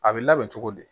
A bɛ labɛn cogo di